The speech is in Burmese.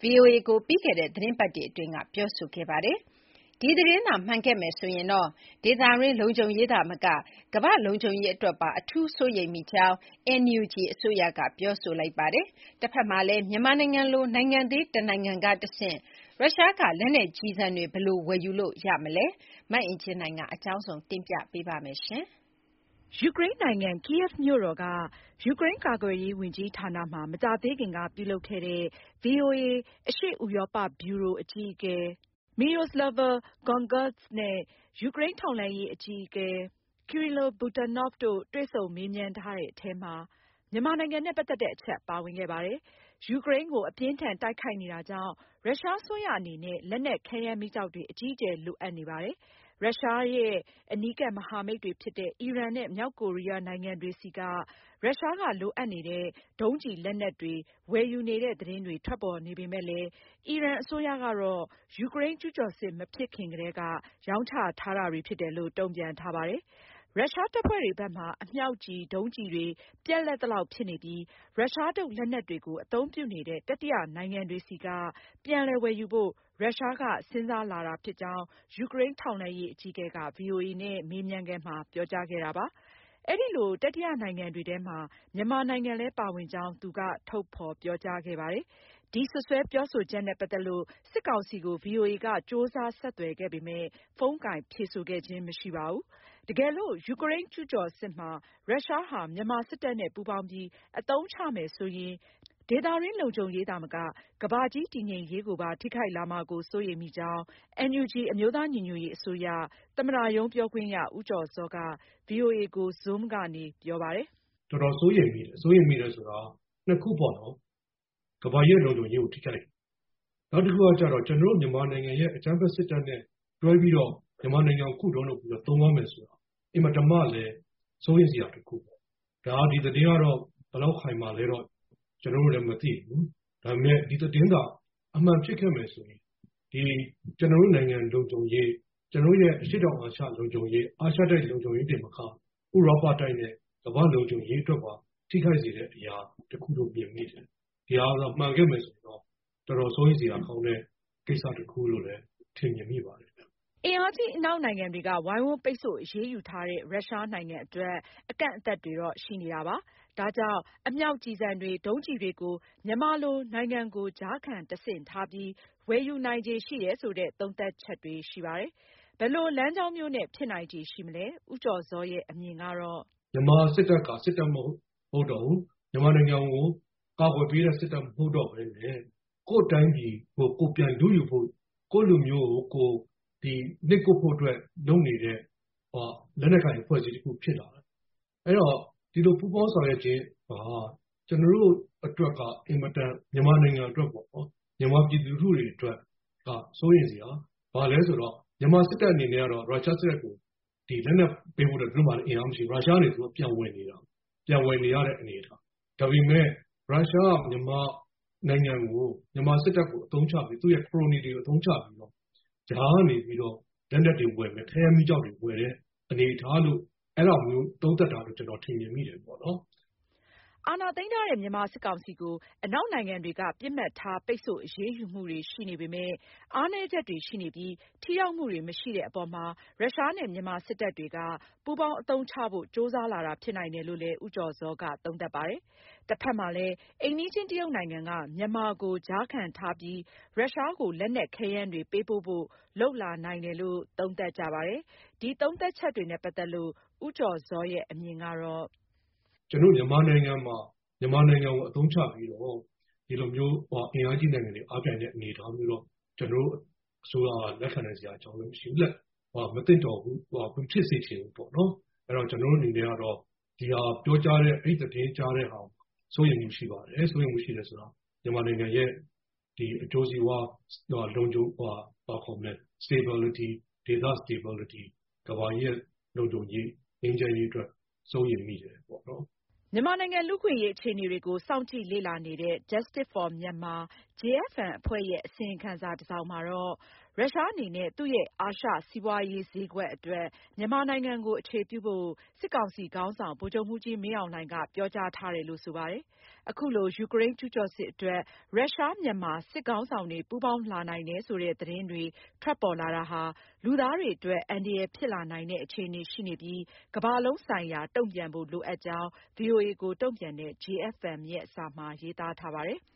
ဗွီအိုအေကို ပြီးခဲ့တဲ့သီတင်းပတ်တွေအတွင်းကပြောကြားခဲ့ပါတယ်။ ဒီသတင်းသာ မှန်ခဲ့မယ်ဆိုရင် ဒေသတွင်းလုံခြုံရေးသာမက ကမ္ဘာ့လုံခြုံရေးအတွက်ပါ အထူးစိုးရိမ်မိကြောင်း NUG အစိုးရက ပြောဆိုလိုက်ပါတယ်။ တဘက်မှာလည်း မြန်မာလို နိုင်ငံသေးတနိုင်ငံကတဆင့် ရုရှားက လက်နက်ကျည်ဆံတွေ ဘယ်လို ဝယ်ယူလို့ ရမလဲ။ မအင်ကြင်းနိုင်က အကြောင်းစုံကို တင်ပြပေးထားပါတယ်။ ယူကရိန်းနိုင်ငံ Kyiv မြို့တော်က ယူကရိန်းကာကွယ်ရေးဝန်ကြီးဌာနမှာ မကြာသေးခင်က ပြုလုပ်ခဲ့တဲ့ ဗွီအိုအေ အရှေ့ ဥရောပ ဗျူရိုအကြီးအကဲ Myroslava Gongadze နဲ့ ယူကရိန်းထောက်လှမ်းရေး အကြီးအကဲ Kyrylo Budanov တို့တွေ့ဆုံမေးမြန်းထားတဲ့အထဲမှာ မြန်မာနိုင်ငံနဲ့ ပတ်သက်တဲ့အချက်ပါဝင်ခဲ့ပါတယ်။ ယူကရိန်းကို အပြင်းအထန်တိုက်ခိုက်နေတာကြောင့် ရုရှားအစိုးရအနေနဲ့ လက်နက်ခဲယမ်းမီးကျောက်တွေ အကြီးအကျယ်လိုအပ်နေတာပါ။ ရုရှားရဲ့ အနီးကပ်မဟာမိတ်တွေဖြစ်တဲ့ အီရန်နဲ့ မြောက်ကိုရီးယားနိုင်ငံတွေဆီကနေ ရုရှားက လိုအပ်နေတဲ့ ဒုံးကျည်လက်နက်တွေ ဝယ်ယူနေတဲ့သတင်းတွေ ထွက်ပေါ်နေပေမယ့်လည်း အီရန်အစိုးရကတော့ ယူကရိန်း ကျူးကျော်စစ်မဖြစ်ခင်ကတည်းက ရောင်းချထားတာတွေဖြစ်တယ်လို့ တုံ့ပြန်ထားပါတယ်။ ရုရှားတပ်ဖွဲ့တွေဘက်မှာ အမြောက်ကျည်၊ ဒုံးကျည်တွေ ပြတ်လပ်သလောက်ဖြစ်နေပြီး ရုရှားထုတ်လက်နက်တွေကို အသုံးပြုနေတဲ့ တတိယနိုင်ငံတွေဆီက ပြန်လည်ဝယ်ယူဖို့ ရုရှားက စဉ်းစားလာတာဖြစ်ကြောင်း ယူကရိန်း ထောက်လှမ်းရေးအကြီးအကဲက ဗွီအိုအေနဲ့ မေးမြန်းခန်းမှာ ပြောကြားခဲ့တာပါ။ အဲဒီလို တတိယနိုင်ငံတွေထဲမှာ မြန်မာနိုင်ငံလည်း ပါဝင်ကြောင်း သူက ထုတ်ဖေါ်ပြောကြားခဲ့ပါတယ်။ ဒီစွပ်စွဲပြောဆိုချက်နဲ့ ပတ်သက်လို့ စစ်ကောင်စီကို ဗွီအိုအေက ကြိုးစားဆက်သွယ်ခဲ့ပေမယ့် ဖုန်းကိုင်ဖြေဆိုခြင်း မရှိခဲ့ပါဘူး။ တကယ်လို့ ယူကရိန်းကျူးကျော်စစ်မှာ ရုရှားဟာ မြန်မာစစ်တပ်နဲ့ပူးပေါင်းပြီး အသုံးချမယ် ဆိုရင် ဒေသတွင်းလုံခြုံရေးသာမက ကမ္ဘာကြီးတည်ငြိမ်ရေးကို ပါ ထိခိုက်လာမှာကို စိုးရိမ်မိကြောင်း NUG အမျိုးသားညီညွတ်ရေးအစိုးရ သမ္မတရုံးပြောခွင့်ရ ဦးကျော်ဇောက ဗွီအိုအေကို zoom ကနေ ပြောကြားခဲ့ပါတယ်။ “တော်တော်စိုးရိမ်မိတယ်။ စိုးရိမ်မိတယ်ဆိုတာက နှစ်ခုပေါ့နော်၊ ကမ္ဘာကြီးရဲ့လုံခြုံရေးကိုထိခိုက်တယ်။ နောက်တခုကကျတော့ ကျနော်တို့မြန်မာနိုင်ငံရဲ့အကြမ်းဖက်စစ်တပ်နဲ့တွဲပြီးတော့ မြန်မာနိုင်ငံကိုခုတုံးလုပ်ပြီးတော့ သုံးသွားမယ်ဆိုတာ အင်မတန်မှလည်း စိုးရိမ်စရာတခုပေါ့။ ဒီသတင်းက ဘယ်လောက်ခိုင်မာလဲတော့ ကျနော်တို့လည်း မသိဘူး၊ ဒါပေမဲ့ ဒီသတင်းက အမှန်ဖြစ်ခဲ့မယ်ဆိုရင် ကျနော်တို့နိုင်ငံလုံခြုံရေး၊ ကျနော်တို့ရဲ့အရှေ့တောင်အာရှလုံခြုံရေး၊ အာရှတိုက်လုံခြုံရေးတွေတင်မက ဥရောပတိုက်နဲ့ကမ္ဘာ့လုံခြုံရေးအတွက်ပါ ထိခိုက်စေတဲ့အရာတခုလို့ မြင်မိတယ်။ ဒီဟာ မှန်ခဲ့မယ်ဆိုရင်တော့ တော်တော်စိုးရိမ်စရာကောင်းတဲ့ကိစ္စတခုလို့လည်း ထင်မြင်မိပါတယ်ဗျ။” အင်အားကြီးအနောက်နိုင်ငံတွေက ဝိုင်းဝန်းပိတ်ဆို့ အရေးယူထားတဲ့ ရုရှားနိုင်ငံအတွက် အကန့်အသတ်တွေရှိနေတာပါ။ ဒါကြောင့် အမြောက်ကျည်ဆံတွေ၊ ဒုံးကျည်တွေကို မြန်မာလို နိုင်ငံကို ကြားခံတဆင့်ထားပြီး ဝယ်ယူနိုင်ခြေရှိမယ်ဆိုတဲ့ သုံးသပ်ချက်တွေရှိပါတယ်။ ဘယ်လို လမ်းကြောင်းမျိုးနဲ့ ဖြစ်နိုင်ခြေရှိမလဲ။ ဦးကျော်ဇောရဲ့ အမြင်ကတော့- “မြန်မာစစ်တပ်က စစ်တပ်မဟုတ်တော့ဘူး၊ မြန်မာနိုင်ငံကို ကာကွယ်ပေးတဲ့စစ်တပ်မဟုတ်တော့ဘဲနဲ့ ကိုယ့်တိုင်းပြည်ကို ကိုယ်ပြန်လုယူဖို့၊ ကိုယ့်လူမျိုးကို ကိုယ်နှိပ်ကွပ်ဖို့အတွက် လုပ်နေတဲ့ လက်နက်ကိုင်အဖွဲ့အစည်းတခုဖြစ်လာတယ်။ အဲဒီတော့ ဒီလို ပူးပေါင်းဆောင်ရွက်ခြင်းဟာ ကျနော်တို့အတွက်က အင်မတန်- မြန်မာနိုင်ငံအတွက်ပေါ့နော်၊ မြန်မာပြည်သူလူထုအတွက်က စိုးရိမ်စရာ ဘာလဲဆိုတော့ မြန်မာစစ်တပ်အနေနဲ့ကတော့ ရုရှားစစ်တပ်ကို လက်နက်ပေးဖို့လည်း သူတို့မှာအင်အားမရှိဘူး။ ရုရှားကနေ သူတို့ပြန်ဝယ်နေတာ။ ပြန်ဝယ်နေရတဲ့အနေအထား။ ဒါပေမဲ့ ရုရှားက မြန်မာနိုင်ငံကို မြန်မာစစ်တပ်ကိုအသုံးချပြီး သူ့ရဲ့ခရိုနီတွေကိုအသုံးချပြီးတော့ ကြားကနေပြီးတော့ လက်နက်တွေဝယ်တဲ့၊ ခဲယမ်းမီးကျောက်တွေဝယ်တဲ့အနေအထားလို့- အဲဒါမျိုးသုံးတပ်တာကိုတော့ ကျနော်ထင်မြင်မိတယ်ပေါ့နော်။” အာဏာသိမ်းထားတဲ့ မြန်မာစစ်ကောင်စီကို အနောက်နိုင်ငံတွေက ပစ်မှတ်ထား ပိတ်ဆို့အရေးယူမှုတွေရှိနေပေမယ့် အားနည်းချက်တွေရှိနေပြီး ထိရောက်မှုတွေမရှိတဲ့အပေါ်မှာ ရုရှားနဲ့ မြန်မာစစ်တပ်တွေက ပူးပေါင်းအသုံးချဖို့ ကြိုးစားလာတာဖြစ်နိုင်တယ်လို့လည်း ဦးကျော်ဇောက သုံးသပ်ပါတယ်။ တဖက်မှာလည်း အိမ်နီးချင်း တရုတ်နိုင်ငံက မြန်မာကို ကြားခံထားပြီး ရုရှားကို လက်နက်ခဲယမ်းတွေ ပေးပို့ဖို့ လုပ်လာနိုင်တယ်လို့ သုံးသပ်ကြပါတယ်။ ဒီသုံးသပ်ချက်တွေနဲ့ ပတ်သက်လို့ ဦးကျော်ဇောရဲ့ အမြင်ကတော့- “ကျနော်တို့မြန်မာနိုင်ငံကိုအသုံးချပြီးတော့ ဒီလိုမျိုး အင်အားကြီးနိုင်ငံတွေအားပြိုင်တဲ့အနေအထားမျိုးက ကျနော်တို့အစိုးရက လက်ခံနိုင်စရာအကြောင်းလည်းမရှိဘူး၊ မသင့်တော်ဘူး၊ မဖြစ်စေချင်ဘူးပေါ့နော်။ ကျနော်တို့အနေနဲ့ကတော့ အဲဒီသတင်းကြားတဲ့ဟာကို စိုးရိမ်မှုရှိပါတယ်။ စိုးရိမ်မှုရှိတယ်ဆိုတာက မြန်မာနိုင်ငံရဲ့အကျိုးစီးပွါး လုံခြုံ ဘာခေါ်မလဲ stabitlity၊ ဒေသ stabitlity၊ ကမ္ဘာရဲ့လုံခြုံရေးနဲ့ငြိမ်းချမ်းရေးအတွက် စိုးရိမ်မိတယ်ပေါ့နော်။” မြန်မာနိုင်ငံလူ့အခွင့်အရေးအခြေအနေတွေကို စောင့်ကြည့်လေ့လာနေတဲ့ Justice For Myanmar အဖွဲ့ရဲ့ အစီရင်ခံစာတစောင်မှာ ဖေါ်ပြထားတာကတော့- ရုရှားအနေနဲ့ သူ့ရဲ့ အာရှစီးပွားရေးဈေးကွက်အတွက် မြန်မာနိုင်ငံကို အခြေပြုဖို့ စစ်ကောင်စီ ခေါင်းဆောင် ဗိုလ်ချုပ်မှူးကြီးမင်းအောင်လှိုင်က ပြောကြားထားတယ်လို့ ဆိုပါတယ်။ အခုလို ယူကရိန်းကျူးကျော်စစ်အတွက် ရုရှား၊ မြန်မာ စစ်ခေါင်းဆောင်တွေ ပူးပေါင်းလာနိုင်တဲ့ သတင်းတွေထွက်ပေါ်လာဟာ လူသားတွေအတွက် အန္တရာယ်ဖြစ်လာနိုင်တဲ့ အခြေအနေရှိနေပြီး ကမ္ဘာလုံးဆိုင်ရာ တုံ့ပြန်ဖို့ လိုအပ်ကြောင်း ဗွီအိုအေကို တုံ့ပြန်တဲ့ JFM ရဲ့စာမှာ ရေးသားထားပါတယ်။